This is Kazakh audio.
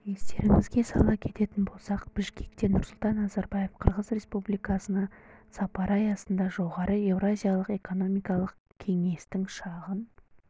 естеріңізге сала кететін болсақ бішкекте нұрсұлтан назарбаев қырғыз республикасына сапары аясында жоғары еуразиялық экономикалық кеңестің шағын